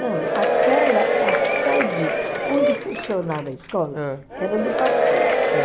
Não, aquela, a sede onde funcionava a escola era do partido.